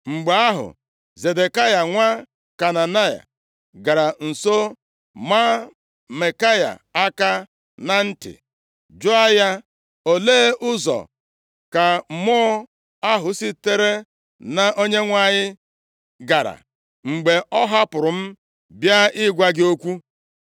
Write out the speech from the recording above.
Mgbe ahụ, Zedekaya nwa Kenaana, gara nso maa Maikaya aka na nti, jụọ ya, “Olee ụzọ ka mmụọ ahụ sitere na Onyenwe anyị gara, mgbe ọ hapụrụ m bịa ịgwa gị okwu?”